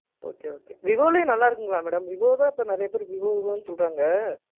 Okay okay. விவோலயே நல்லா இருக்குங்களா madam? விவோ தான் இப்போ நிறைய பேர் விவோ, விவோன்னு சொல்றாங்க.